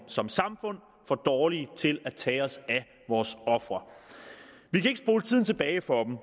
som samfund for dårlige til at tage os af vores ofre vi kan ikke spole tiden tilbage for dem